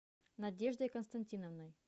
надеждой константиновной